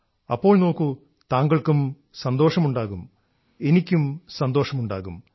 അപ്പോൾ നോക്കൂ താങ്കൾക്കും സന്തോഷമുണ്ടാകും എനിക്കും സന്തോഷമുണ്ടാകും